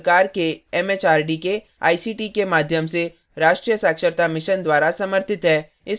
यह भारत सरकार के एमएचआरडी के आईसीटी के माध्यम से राष्ट्रीय साक्षरता mission द्वारा समर्थित है